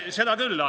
Seda küll.